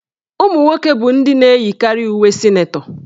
Ụmụnwoke bụ ndị na-eyikarị uwe sịnetọ.